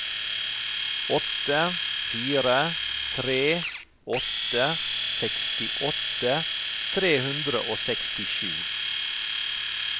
åtte fire tre åtte sekstiåtte tre hundre og sekstisju